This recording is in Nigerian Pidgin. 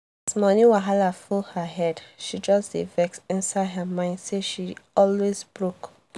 money wahala full her head she just dey vex inside her mind say she always broke.